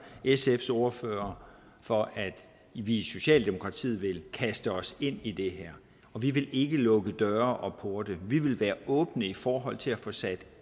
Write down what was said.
sfs ordfører for at vi i socialdemokratiet vil kaste os ind i det og vi vil ikke lukke døre og porte vi vil være åbne i forhold til at få sat